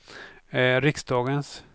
riksdagens